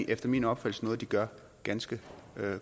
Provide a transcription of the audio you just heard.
efter min opfattelse noget de gør ganske